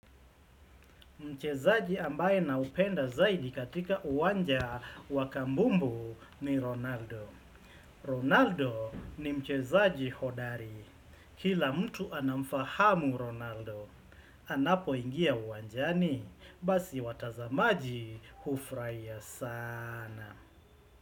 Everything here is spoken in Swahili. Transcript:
Mchezaji ambaye na mpenda zaidi katika uwanja wakabumbu ni Ronaldo. Ronaldo ni mchezaji hodari. Kila mtu anamfahamu Ronaldo. Anapo ingia uwanjani. Basi watazamaji hufurahia sana.